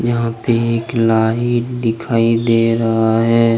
यहां पे एक लाइन दिखाई दे रहा है।